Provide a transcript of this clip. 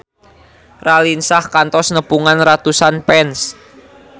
Raline Shah kantos nepungan ratusan fans